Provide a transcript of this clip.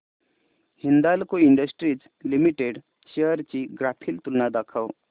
Hindalco industries limited shares ची graphical तुलना दाखव